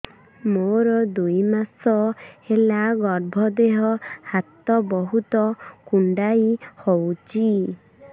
ମୋର ଦୁଇ ମାସ ହେଲା ଗର୍ଭ ଦେହ ହାତ ବହୁତ କୁଣ୍ଡାଇ ହଉଚି